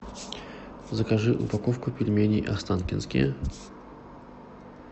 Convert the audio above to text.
закажи упаковку пельменей останкинские